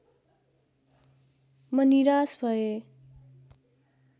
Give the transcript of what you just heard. म निराश भएँ